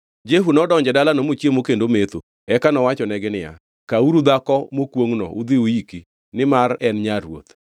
Jehu nodonjo e dalano mochiemo kendo ometho. Eka nowachonegi niya, “Kawuru dhako mokwongʼno udhi uyiki, nimar ne en nyar ruoth.”